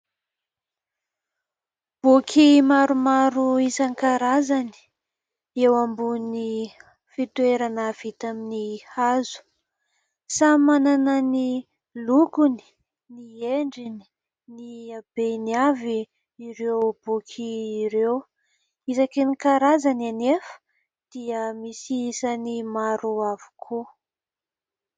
Boky maromaro isan-karazany eo ambony fitoerana vita amin'ny hazo. Samy manana ny lokony, ny endriny, ny abeny avy ireo boky ireo. Isaky ny karazany anefa dia misy isany maro avokoa.